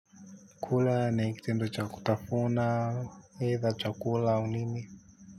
Kula na kitendo cha kutafuna eidha chakula au nini.